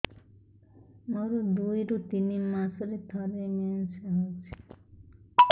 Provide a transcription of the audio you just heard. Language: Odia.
ମୋର ଦୁଇରୁ ତିନି ମାସରେ ଥରେ ମେନ୍ସ ହଉଚି